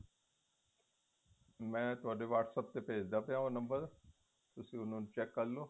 ਮੈ ਤੁਹਾਡੇ whats app ਭੇਜਦਾ ਦਾ ਪਇਆ ਉਹ ਨੰਬਰ ਤੁਸੀਂ ਉਹਨੂੰ check ਕਰਲੋ